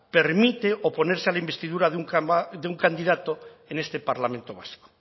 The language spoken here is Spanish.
permite oponerse a la investidura de un candidato en este parlamento vasco